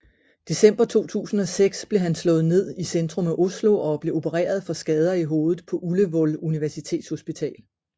December 2006 blev han slået ned i centrum af Oslo og blev opereret for skader i hovedet på Ullevål Universitetshospital